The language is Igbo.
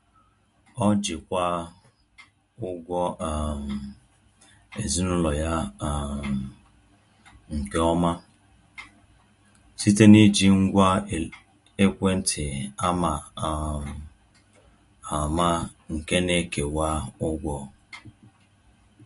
Ọ jikwaa ụgwọ um ezinụlọ ya um nke ọma site n’iji ngwa ekwentị ama um ama nke na-ekewa ụgwọ.